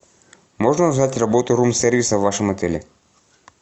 можно узнать работу рум сервиса в вашем отеле